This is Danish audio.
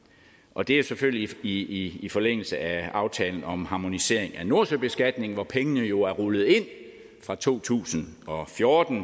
og det er selvfølgelig i i forlængelse af aftalen om harmonisering af nordsøbeskatningen hvor pengene jo er rullet ind fra to tusind og fjorten